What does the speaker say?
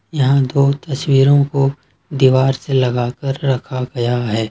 यहां दो तस्वीरों को दीवार से लगा कर रखा गया है।